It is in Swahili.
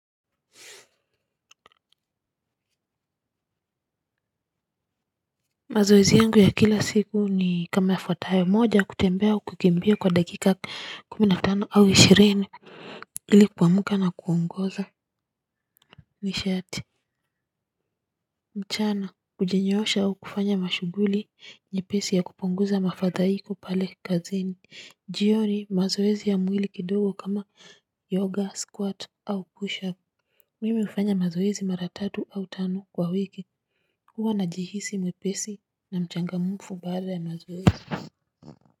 Mazoezi yangu ya kila siku ni kama yafuatayo moja kutembea au kukimbia kwa dakika kumi na tano au ishirini. Ilikuamuka na kuongoza Nishati. Mchana kujinyoosha au kufanya mashughuli nyepesi ya kupunguza mafadhaiko pale kazini. Jioni mazoezi ya mwili kidogo kama yoga squat au pusher up. Mimi hufanya mazoezi mara tatu au tano kwa wiki. Huwa na jihisi mwepesi na mchangamufu baada ya mazoezi.